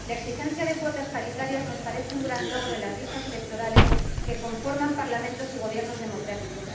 Si la exigencia de cuotas paritarias nos parece un gran logro en las listas electorales que conforman parlamentos y gobiernos democráticos